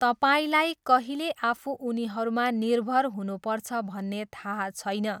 तपाईँलाई कहिले आफू उनीहरूमा निर्भर हुनुपर्छ भन्ने थाहा छैन।